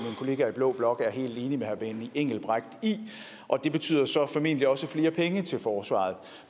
kollegaer i blå blok helt enige med herre benny engelbrecht i og det betyder så formentlig også flere penge til forsvaret